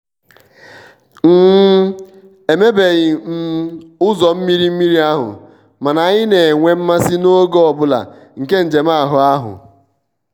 um emebeghi um ụzọ mmiri mmiri ahụ mana anyị na-enwe mmasị n'oge ọ bụla nke njem ahụ ahụ